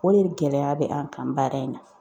O de gɛlɛya bɛ an kan baara in na.